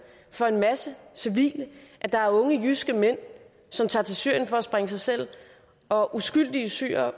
for en masse civile at der er unge jyske mænd som tager til syrien for at sprænge sig selv og uskyldige syrere